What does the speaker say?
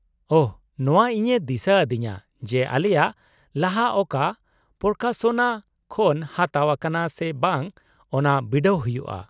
ᱳᱦᱚ! ᱱᱚᱶᱟ ᱤᱧᱮ ᱫᱤᱥᱟᱹ ᱟᱹᱫᱤᱧᱟ ᱡᱮ ᱟᱞᱮᱭᱟᱜ ᱞᱟᱦᱟ ᱚᱠᱟ ᱯᱨᱚᱠᱟᱥᱚᱱᱟ ᱠᱷᱚᱱ ᱦᱟᱛᱟᱣ ᱟᱠᱟᱱᱟ ᱥᱮ ᱵᱟᱝ ᱚᱱᱟ ᱵᱤᱰᱟᱹᱣ ᱦᱩᱭᱩᱜᱼᱟ ᱾